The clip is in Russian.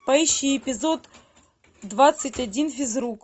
поищи эпизод двадцать один физрук